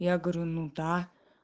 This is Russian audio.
я говорю ну да